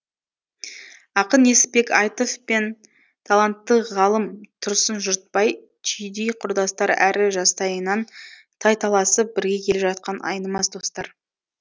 ақын несіпбек айтов пен талантты ғалым тұрсын жұртбай түйдей құрдастар әрі жастайынан тайталасып бірге келе жатқан айнымас достар